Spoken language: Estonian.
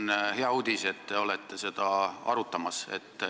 See on hea uudis, et te seda arutate.